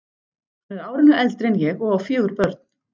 Hann er árinu eldri en ég og á fjögur börn.